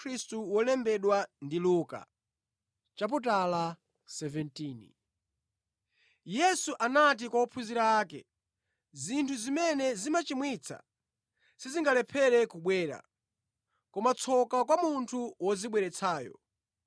Yesu anati kwa ophunzira ake, “Zinthu zimene zimachimwitsa sizingalephere kubwera, koma tsoka kwa munthu wozibweretsayo.